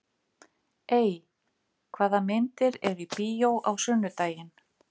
Ey, hvaða myndir eru í bíó á sunnudaginn?